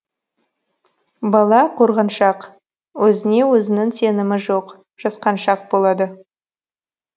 бала қорғаншақ өзіне өзінің сенімі жоқ жасқаншақ болады